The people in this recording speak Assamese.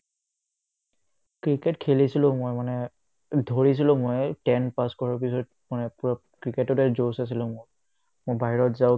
ক্ৰিকেট খেলিছিলো মই মানে ধৰিছিলো মই ten pass কৰাৰ পিছত মানে পূৰা ক্ৰিকেটতে josh আছিলে মোৰ মই বাহিৰত যাওঁ